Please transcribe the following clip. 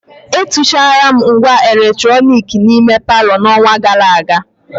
Etuchara m ngwa eletrọnịkị n'ime palọ n'ọnwa gara aga.